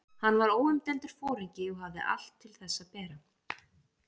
Hann var óumdeildur foringi og hafði allt til þess að bera.